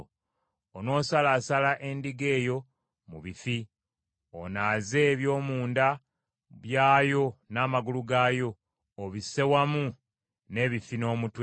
Onoosalaasala endiga eyo mu bifi, onaaze eby’omunda byayo n’amagulu gaayo; obisse wamu n’ebifi n’omutwe,